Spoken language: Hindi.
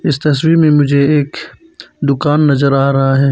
इस तस्वीर में मुझे एक दुकान नजर आ रहा है।